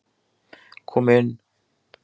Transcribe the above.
Kom inn!